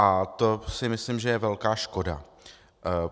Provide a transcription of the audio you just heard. A to si myslím, že je velká škoda.